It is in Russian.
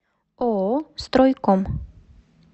ооо стройком